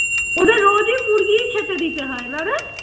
ওদের রোজ ই মুরগি ই খেতে দিতে হয় না রে?